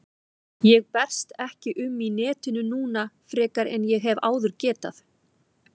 Ég berst ekki um í netinu núna frekar en ég hef áður getað.